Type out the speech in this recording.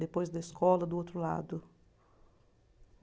Depois da escola, do outro lado.